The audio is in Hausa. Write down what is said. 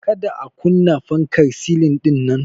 Ka da a kunna fankar silin din.